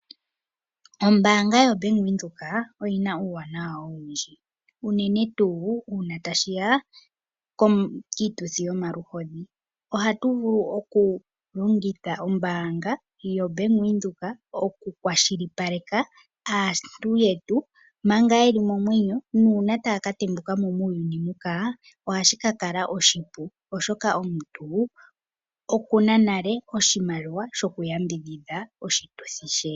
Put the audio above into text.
Ombaanga yoBank Windhoek oyi na uuwanawa owundji, unene tuu uuna tashi ya kiituthi yomaluhodhi, ohatu vulu oku longitha ombaanga yoBank Windhoek, oku kwashilipaleka aantu yetu, manga yeli momwenyo, nuuna taya ka tembuka mo muuyuni mbuka ohashi ka kala oshipu, oshoka omuntu oku na nale oshimaliwa shoku yambidhidha oshituthi she.